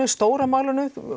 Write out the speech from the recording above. stóra málinu